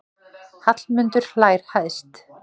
Hallmundur hlær hæst.